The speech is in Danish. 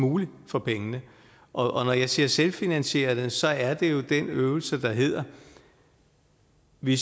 muligt for pengene og når jeg siger selvfinansierende så er der jo den øvelse der at vi